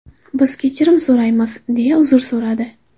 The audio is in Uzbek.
Biz kechirim so‘raymiz”, deya uzr so‘radi.